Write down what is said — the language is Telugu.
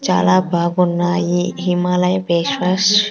చాలా బాగున్నాయి హిమాలయ ఫేస్ వాష్ .